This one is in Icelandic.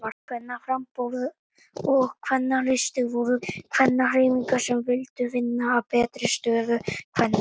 Kvennaframboð og Kvennalisti voru kvennahreyfingar sem vildu vinna að bættri stöðu kvenna.